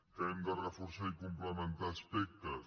que hem de reforçar i complementar aspectes